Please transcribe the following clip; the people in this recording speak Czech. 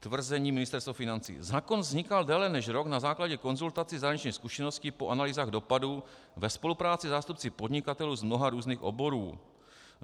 Tvrzení Ministerstva financí: Zákon vznikal déle než rok na základě konzultací, zahraničních zkušeností po analýzách dopadu ve spolupráci se zástupci podnikatelů z mnoha různých oborů.